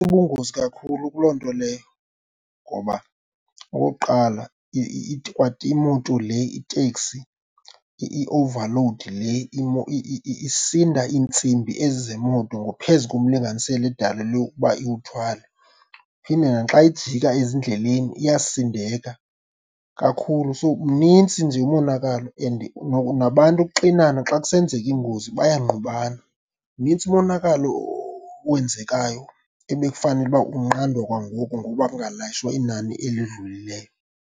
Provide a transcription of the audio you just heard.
Bubungozi kakhulu kuloo nto leyo ngoba, okokuqala, kwa imoto le iteksi, i-overload le isinda iintsimbi ezi zemoto phezu komlinganiselo edalelwe ukuba iwuthwale. Iphinde naxa ijika ezindleleni iyasindeka kakhulu, so mnintsi nje umonakalo. And nabantu ukuxinana xa kusenzeka ingozi bayangqubana, mnintsi umonakalo owenzekayo ebekufanele uba unqandwa kwangoku ngokuba kungalayishwa inani elidlulileyo.